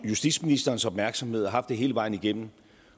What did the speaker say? justitsministerens opmærksomhed og har haft det hele vejen igennem